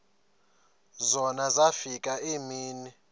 zona zafika iimini